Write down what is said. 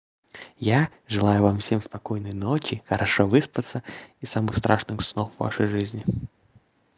я желаю вам всем спокойной ночи хорошо выспаться и самых страшных снов в вашей жизни